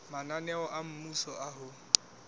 mananeo a mmuso a ho